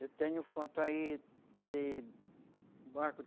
Eu tenho foto aí de barco.